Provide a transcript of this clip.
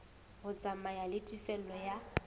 ho tsamaya le tefello ya